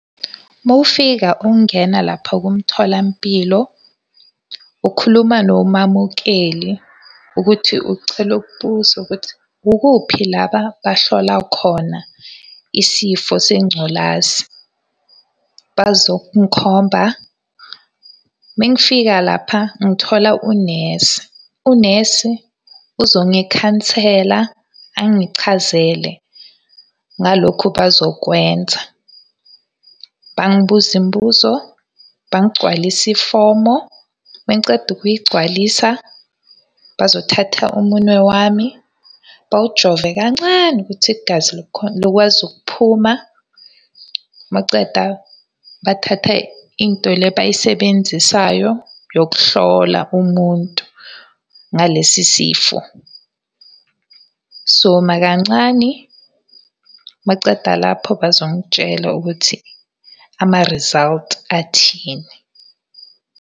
Uma ufika ungena lapho kumtholampilo, ukhuluma nomamukeli ukuthi ucela ukubuza ukuthi kukuphi la abahlola khona isifo sengculazi bazokungikhomba. Uma ngifika lapha ngithola unesi, unesi uzongikhansela, angichazele ngalokhu abazokwenza. Bangibuze imibuzo, bangigcwalise ifomo. Uma ngiceda ukuyigcwalisa, bazothatha umunwe wami bawujove kancane ukuthi igazi likwazi ukuphuma. Uma uceda, bathatha into le abayisebenzisayo yokuhlola umuntu ngalesi sifo. Sizoma kancani, uma beceda lapho bazongitshela ukuthi ama-results, athini.